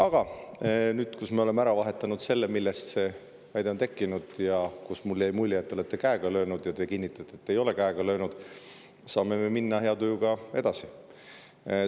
Aga nüüd, kui me oleme vahetanud selle üle, millest see väide on tekkinud, ja kuidas mul jäi mulje, et te olete käega löönud, kuid teie kinnitate, et ei ole käega löönud, saame me hea tujuga edasi minna.